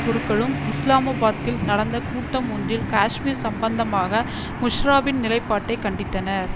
குருக்களும் இஸ்லாம்பாத்தில் நடந்த கூட்டம் ஒன்றில் காஷ்மீர் சம்பந்தமாக முஷ்ராபின் நிலைப்பாட்டை கண்டித்தனர்